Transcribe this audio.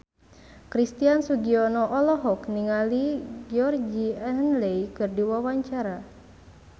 Christian Sugiono olohok ningali Georgie Henley keur diwawancara